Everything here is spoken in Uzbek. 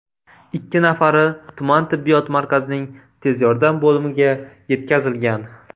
Ikki nafari tuman tibbiyot markazining tez yordam bo‘limiga yetkazilgan.